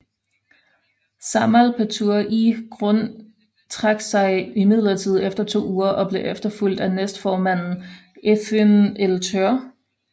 Sámal Petur í Grund trak sig imidlertid efter to uger og blev efterfulgt af næstformanden Eyðun Elttør